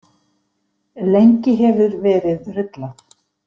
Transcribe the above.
Lengi hefur verið rullað.